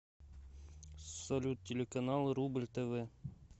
салют телеканал рубль тв